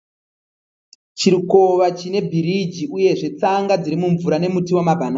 Chikova chine birigi uyezve tsanga dziri mumvura nemuti wamabanana.